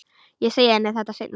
Ég segi henni þetta seinna.